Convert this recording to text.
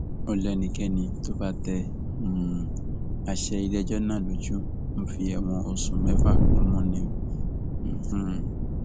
ó léńìkéni tó bá tẹ um àṣẹ iléẹjọ náà lójú ń fi ẹwọn oṣù mẹfà rúnmú ni um